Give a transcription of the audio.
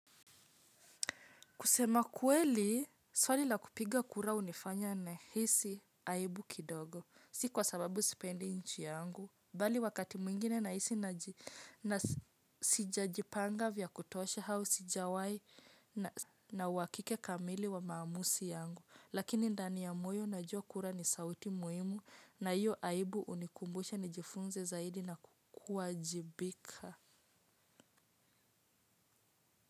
Kusema kweli, swali la kupiga kura hunifanya na hisi aibu kidogo, si kwa sababu sipendi nchi yangu, bali wakati mwingine na hisi na sijajipanga vya kutosha au si jawahi na uhakika kamili wa maamuzi yangu. Lakini ndani ya moyo najua kura ni sauti muhimu na iyo aibu hunikumbusha ni jifunze zaidi na kuwajibika.